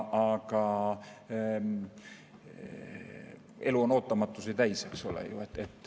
Aga elu on ootamatusi täis, eks ole.